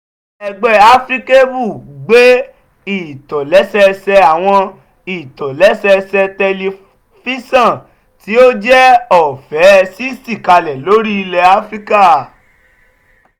ẹgbẹ́ africable gbé ìtòlé́sẹẹsẹ àwọn ìtòlé́sẹẹsẹ tẹlifíṣọ̀n tí ó jẹ́ ọ̀fẹ́ sixty kalẹ̀ lórí ilẹ̀ áfíríkà